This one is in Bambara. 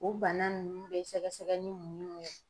O bana nunnu bɛ sɛgɛsɛgɛ ni mun ye